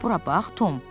Bura bax, Tom!